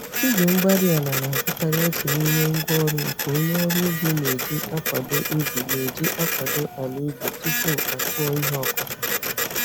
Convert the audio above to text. igwe-mgbárí-ala na-abụkarị otú n'ime ngwá ọrụ nke onye ọrụ ubi na-eji akwado ubi na-eji akwado ala ubi tupu akụọ ihe okụkụ